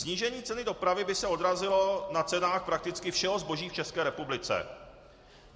Snížení ceny dopravy by se odrazilo na cenách prakticky všeho zboží v České republice.